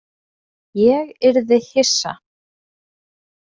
Ég yrði hissa.